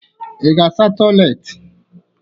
Ị ga-asa toịletị?